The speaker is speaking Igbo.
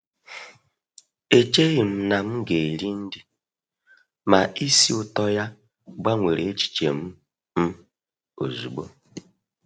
Echeghị m na m ga-eri nri, ma isi ụtọ ya gbanwere echiche m m ozugbo.